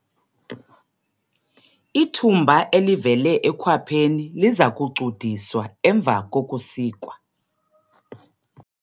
Ithumba elivele ekhwapheni liza kucudiswa emva kokusikwa.